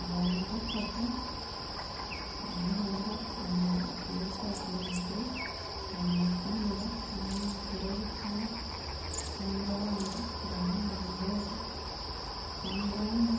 Abaana bashatu omwe aharibo ajwaire esaati ya bururu aine kamera ariyo nateera ebishushani kandi abandi bariho nibamureeba kandi omwe